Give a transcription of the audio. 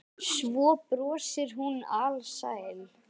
Svo brosir hún alsæl.